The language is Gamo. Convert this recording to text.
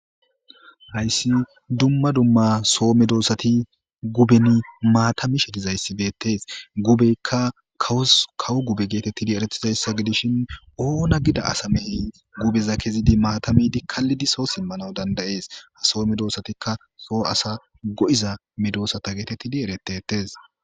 Hayssi dumma dumma soome doosati guben maatami shetizayssibetes gubeykka kawo gube geetettidi eretizayssa gidishin ooona gida asamey gubeza kezidi maatamidi kallidi soo simmana dandayees ha soome doosatikka soo asa go7iza medoossata geetettidi eretetes.